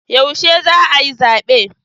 Yaushe za a yi zabe?